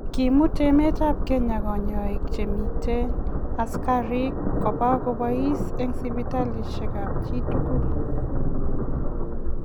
Koimut emet ab Kenya kanyoik chemiten asikarrik koba kobais en sipitaliasiek ab chitukul